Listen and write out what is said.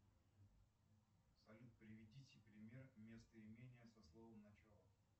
салют приведите пример местоимения со словом начало